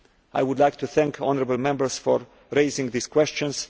I would like to thank honourable Members for raising these questions.